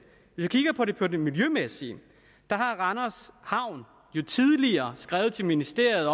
når det det miljømæssige har randers havn jo tidligere skrevet til ministeriet